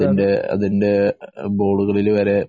അതിന്‍റെ ബോര്‍ഡുകളില്‍ വരെ